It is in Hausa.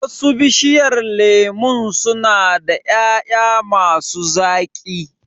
Wasu Bishiyar lemun su na da ƴaƴa ma su zaƙi